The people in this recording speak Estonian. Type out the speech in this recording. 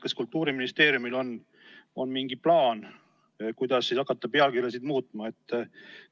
Kas Kultuuriministeeriumil on mingi plaan, kuidas hakata pealkirju muutma?